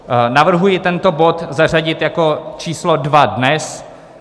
Navrhuji tento bod zařadit jako číslo 2 dnes.